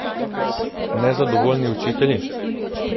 Nezadovoljni učitelji?